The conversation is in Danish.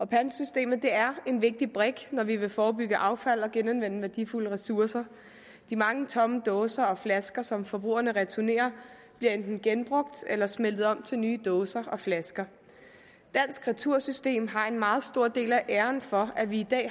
pantsystemet er en vigtig brik når vi vil forebygge affald og genanvende værdifulde ressourcer de mange tomme dåser og flasker som forbrugerne returnerer bliver enten genbrugt eller smeltet om til nye dåser og flasker dansk retursystem har en meget stor del af æren for at vi i dag